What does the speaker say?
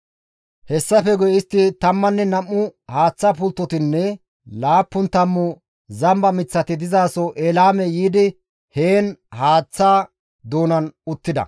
Hessafe istti tammanne nam7u haaththa pulttotinne laappun tammu zamba miththati dizaso Eelaame yiidi heen haaththa doonan uttida.